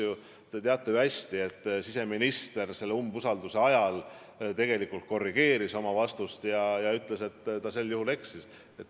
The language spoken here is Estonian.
Aga te teate ju hästi, et siseminister selle umbusaldusavalduse arutamise ajal tegelikult korrigeeris oma vastust ja ütles, et ta eksis.